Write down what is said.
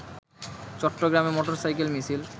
চট্টগ্রামে মোটরসাইকেল মিছিল